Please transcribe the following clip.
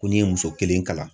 Ko n'i ye muso kelen kalan